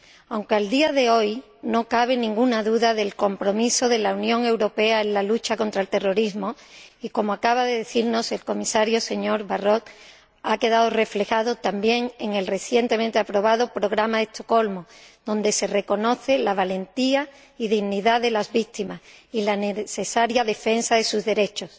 Aunque a día de hoy no cabe ninguna duda del compromiso de la Unión Europea en la lucha contra el terrorismo, compromiso que, como acaba de decirnos el señor Comisario, señor Barrot, ha quedado reflejado también en el recientemente aprobado programa de Estocolmo, donde se reconoce la valentía y dignidad de las víctimas y la necesaria defensa de sus derechos.